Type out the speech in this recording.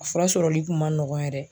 A fura sɔrɔli kun ma nɔgɔn yɛrɛ